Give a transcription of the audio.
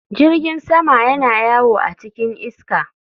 Jirgin sama yana yawo a cikin iska.